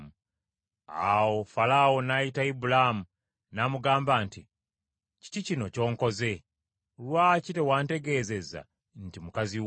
Awo Falaawo n’ayita Ibulaamu n’amugamba nti, “Kiki kino ky’onkoze? Lwaki tewantegeeza nti mukazi wo?